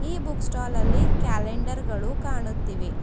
ಈ book stall ಅಲ್ಲಿ calendar ಗಳು ಕಾಣುತ್ತಿವೆ.